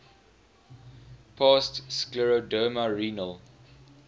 past scleroderma renal